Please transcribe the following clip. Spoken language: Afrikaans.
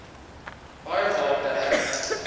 baie waarde heg